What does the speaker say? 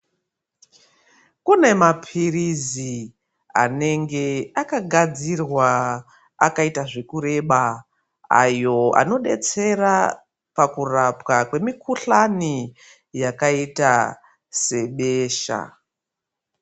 Kune maphirizi anenge akagadzirwa akaita zvekureba ayo anodetsera pakurapwa kwemikuhlani yakaita sebesha .